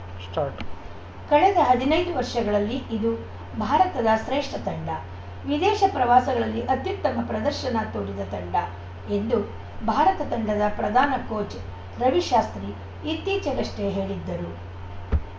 start ಕಳೆದ ಹದಿನೈದು ವರ್ಷಗಳಲ್ಲಿ ಇದು ಭಾರತದ ಶ್ರೇಷ್ಠ ತಂಡ ವಿದೇಶ ಪ್ರವಾಸಗಳಲ್ಲಿ ಅತ್ಯುತ್ತಮ ಪ್ರದರ್ಶನ ತೋರಿದ ತಂಡ ಎಂದು ಭಾರತ ತಂಡದ ಪ್ರಧಾನ ಕೋಚ್‌ ರವಿಶಾಸ್ತ್ರಿ ಇತ್ತೀಚೆಗಷ್ಟೇ ಹೇಳಿದ್ದರು